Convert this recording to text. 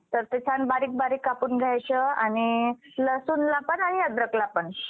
तर ते छान बारीक बारीक कापून घ्यायचं आणि लसूणला पण आणि अद्रकला पण